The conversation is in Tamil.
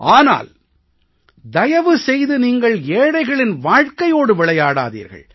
ஆனால் தயவு செய்து நீங்கள் ஏழைகளின் வாழ்கையோடு விளையாடாதீர்கள்